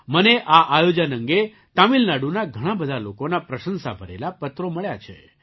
મને આ આયોજન અંગે તમિલનાડુના ઘણા બધા લોકોના પ્રશંસા ભરેલા પત્રો મળ્યા છે